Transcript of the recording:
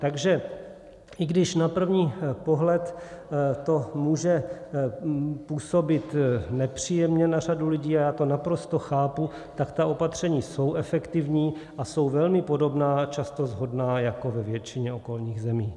Takže i když na první pohled to může působit nepříjemně na řadu lidí, a já to naprosto chápu, tak ta opatření jsou efektivní a jsou velmi podobná, často shodná jako ve většině okolních zemí.